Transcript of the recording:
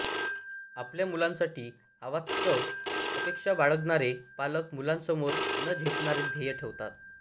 आपल्या मुलांसाठी अवास्तव अपेक्षा बाळगणारे पालक मुलांसमोर न झेपणारे ध्येय ठेवतात